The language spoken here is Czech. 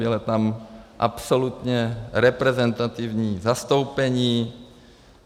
Bylo tam absolutně reprezentativní zastoupení.